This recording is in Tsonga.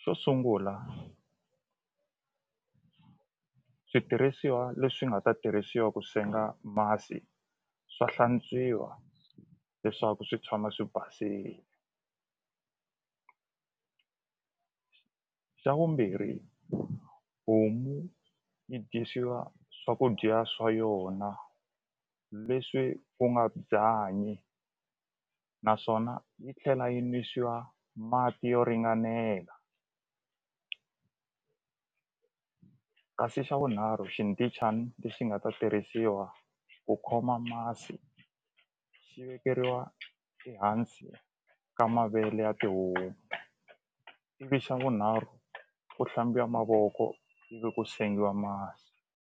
xo sungula switirhisiwa leswi nga ta tirhisiwa ku senga masi swa hlantswiwa leswaku swi tshama swi basile xa vumbirhi homu yi dyisiwa swakudya swa yona leswi ku nga byanyi naswona yi tlhela yi nwisiwa mati yo ringanela kasi xa vunharhu xindichani lexi nga ta tirhisiwa ku khoma masi xi vekeriwa ehansi ka mavele ya tihomu ivi xa vunharhu ku mavoko ivi ku sengiwa masi.